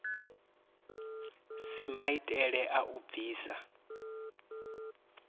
si maitele a u bvisa